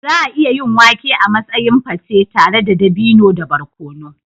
Za a iya yin wake a matsayin pate tare da dabino da barkono.